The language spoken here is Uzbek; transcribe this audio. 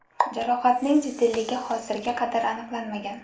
Jarohatning jiddiyligi hozirga qadar aniqlanmagan.